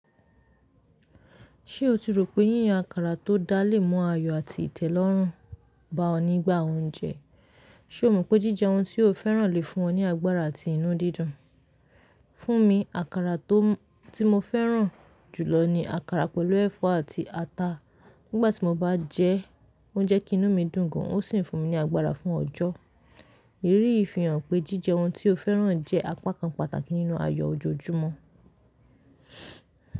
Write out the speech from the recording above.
Ṣé o ti rò pé yíyan àkàrà tó dá lè mọ́ ayọ̀ àti ìtẹ́lọ́rùn bá ọ nígbà oúnjẹ? Ṣe o mọ pe jíjẹ oun ti o féràn le fún ọ ní agbára àti inú dídùn. Fún mi, àkàrà tó ti mo féràn jùlọ ni àkàrà pẹ̀lú ẹ̀fọ́ àti ata. Nígbà tí mo bá jẹ ẹ́, o jẹ́ kí inú mi dùn gan, o sì ń fún mi ní agbára fún ọjọ́. Èrìí ìfihàn pé jíjẹ oun tí o féràn jẹ́ apá kan pàtàkì nínú ayọ̀ ojoojúmọ́.